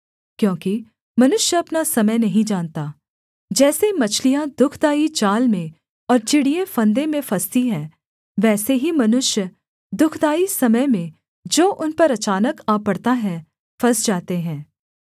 क्योंकि मनुष्य अपना समय नहीं जानता जैसे मछलियाँ दुःखदाई जाल में और चिड़ियें फंदे में फँसती हैं वैसे ही मनुष्य दुःखदाई समय में जो उन पर अचानक आ पड़ता है फँस जाते हैं